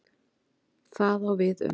Það á við um